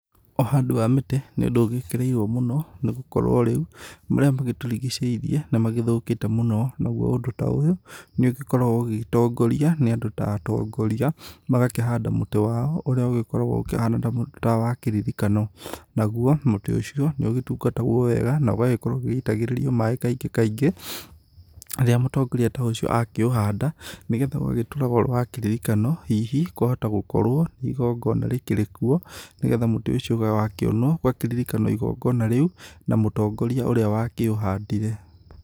Ũhandi wa mĩtĩ nĩ ũndũ ũgĩkĩrĩirwo mũno, nĩ gũkorwo rĩu marĩa magĩtũrigicĩirie nĩmagĩthũkĩte mũno. Naguo ũndũ ta ũyũ, nĩũgĩkoragwo ũgitongoria nĩ andũ ta atongoria. Magakĩhanda mũtĩ wao, ũrĩa ũgĩkoragwo ũkĩhana ta wa kĩririkano. Naguo, mũtĩ ũcio, nĩ ũgĩtungatagwo wega, na ũgagĩkorwo ũgĩgĩitagĩrĩrio maĩ kaingĩ kaingĩ, rĩrĩa mũtongoria ta ũcio akiũhanda. Nĩgetha ũgagĩtũraga ũrĩ wa kĩririkano hihi kwahota gũkorwo nĩ igongona rĩkĩrĩ kuo, nĩgetha mũtĩ ucio wakionwo ũgakĩririkanwo igongona rĩu na mũtongoria ũrĩa wakĩũhandire.